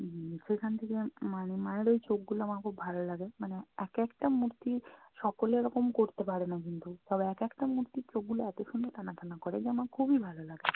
উম সেখান থেকে মানে মায়ের ঐ চোখগুলা আমার খুব ভালো লাগে। মানে এক একটা মূর্তির সকলে এরকম করতে পারেনা কিন্তু। তবে এক একটা মূর্তির চোখগুলো এতো সুন্দর টানা টানা করে যে আমার খুবই ভাল লাগে।